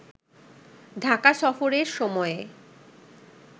ঢাকা সফরের সময়ে